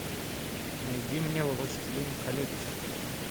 найди мне властелин колец